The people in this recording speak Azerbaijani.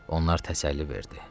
Onlar təsəlli verdi.